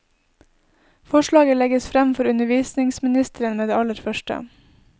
Forslaget legges frem for undervisningsministeren med det aller første.